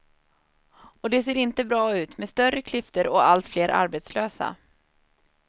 Och det ser inte bra ut, med större klyftor och allt fler arbetslösa.